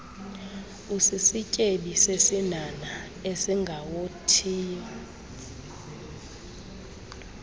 usisityebi sesinhanha esingawothiyo